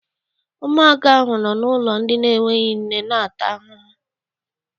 Ụmụaka ahụ nọ n'ụlọ ndị n'enweghị nne na-ata ahụhụ.